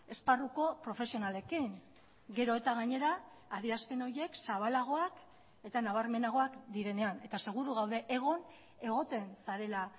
esparruko profesionalekin gero eta gainera adierazpen horiek zabalagoak eta nabarmenagoak direnean eta seguru gaude egon egoten zarela